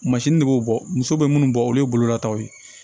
ne b'o bɔ muso bɛ minnu bɔ olu ye bololataw ye